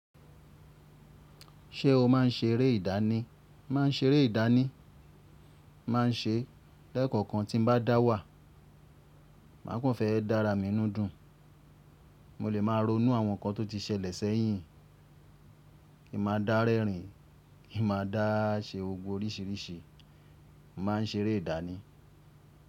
Ṣé o má n ṣeré ìdáni? Ma n ṣeré ìdáni. Ma n ṣe lẹ́kọ̀ọ̀kan tí n bá dá wà. Máa kàn fẹ́ dára mi ńú dùn. Mo lè máa ronú àwọn nkan tó ti ṣẹlẹ̀ sẹ́yìn. Kin máa dá rẹ́rìn, kin máa dá a ṣe ogbó oríṣiríṣi. Ma n ṣeré ìdáni.